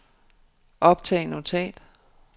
optag notat